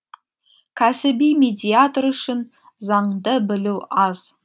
кәсіби медиатор үшін заңды білу аз